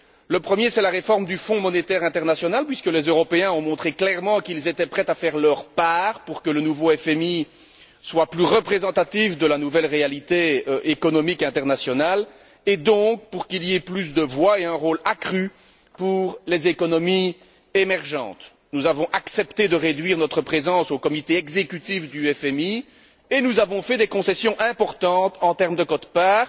Le premier, c'est la réforme du Fonds monétaire international puisque les Européens ont montré clairement qu'ils étaient prêts à faire leur part pour que le nouveau FMI soit plus représentatif de la nouvelle réalité économique internationale et donc, pour que les économies émergentes fassent entendre leur voix et jouent un rôle accru. Nous avons accepté de réduire notre présence au sein du comité exécutif du FMI et nous avons fait des concessions importantes en termes de quotes parts.